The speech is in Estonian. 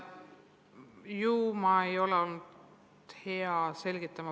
Ju ma ei ole olnud hea selgitaja.